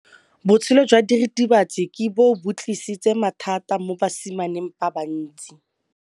Botshelo jwa diritibatsi ke bo tlisitse mathata mo basimaneng ba bantsi.